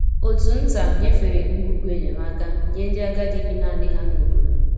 Òtù nta nyefere ngwugwu enyemaka nye ndị agadi bi naanị ha n’obodo.